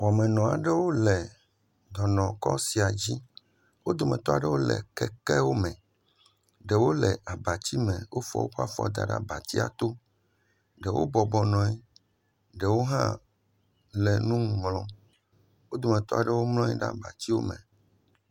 Wɔmenɔ aɖewo le dɔnɔ kɔ sia dzi. Wo dometɔ aɖewo le kekewome. Ɖewo le abatsiwome, wofɔ woƒe afɔwo da ɖe abatsia to. Ɖewo bɔbɔ nɔ anyi, ɖewo hã le nu ŋlɔm. Wo dometɔ aɖewo mlɔ anyi ɖe abatsiwome.